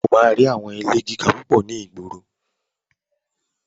O máa rí àwọn ilé gíga púpọ̀ ní ìgboro.